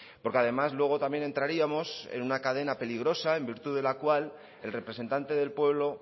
porque además luego también entraríamos en una cadena peligrosa en virtud de la cual el representante del pueblo